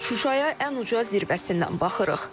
Şuşaya ən uca zirvəsindən baxırıq.